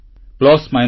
ଭଲ ମନ୍ଦ ତ ରହିଛି